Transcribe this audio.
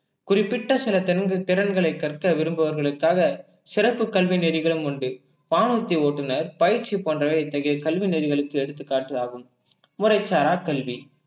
குறிப்பிட்ட சில திறன்~ திறன்களை கற்க விரும்புபவர்களுக்காக சிறப்பு கல்வி நெறிகளும் உண்டு வானூர்த்தி ஓட்டுநர், பயிற்சி போன்றவை இத்தகைய கல்வி நெறிகளுக்கு எடுத்துக்காட்டு ஆகும் முறைசரா கல்வி